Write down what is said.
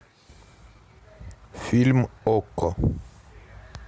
фильм окко